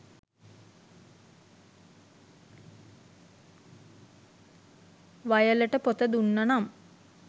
වයලට පොත දුන්න නම්